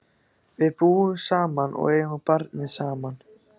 Við búum saman og eigum barnið saman.